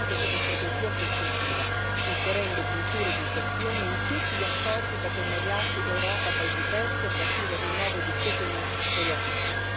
Vogliamo che questa strategia sia effettiva, inserendo cultura ed educazione in tutti gli accordi e i partenariati tra Europa e paesi terzi, a partire dal rinnovo di Cotonou con i paesi ACP.